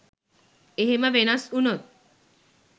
එහෙම වෙනස් වුනොත්